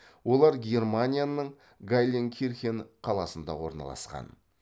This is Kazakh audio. олар германияның гайленкирхен қаласында орналасқан